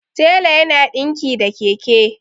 tela yana dinki da Keke